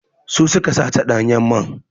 Su su ka sace ɗanyen man.